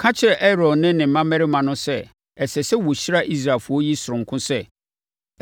“Ka kyerɛ Aaron ne ne mmammarima no sɛ ɛsɛ sɛ wɔhyira Israelfoɔ yi sononko sɛ: